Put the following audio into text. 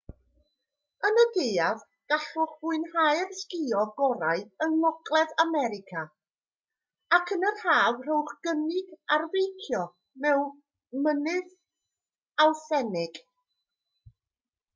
yn y gaeaf gallwch fwynhau'r sgïo gorau yng ngogledd america ac yn yr haf rhowch gynnig ar feicio mynydd awthentig